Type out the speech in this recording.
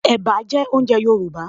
Ẹ̀bà jẹ́ oúnjẹ Yorùbá